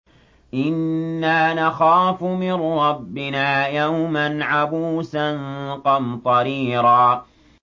إِنَّا نَخَافُ مِن رَّبِّنَا يَوْمًا عَبُوسًا قَمْطَرِيرًا